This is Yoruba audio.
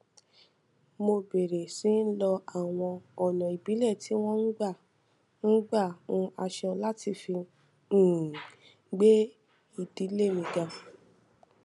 mo bèrè sí lo àwọn ònà ìbílẹ tí wón ń gbà ń gbà hun aṣọ láti fi um gbé ìdílé mi ga